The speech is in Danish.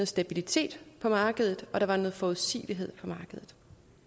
stabilitet på markedet og der var noget forudsigelighed på markedet